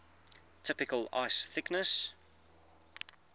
typical ice thickness